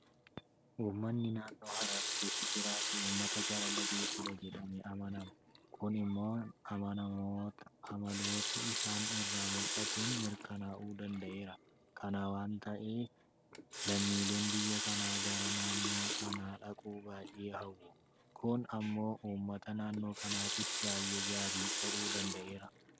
Uummanni naannoo hararii keessa jiraatan uummata jaalala beekudha jedhamee amanama. Kun immoo amaloota isaan irraa mul'atuun mirkanaa'uu danda'eera. Kana waanta ta'eef lammiileen biyya kanaa gara naannoo kanaa dhaquu baay'ee hawwu. Kun immoo uummata naannoo kanaatiif baay'ee gaarii ta'uu danda'eera.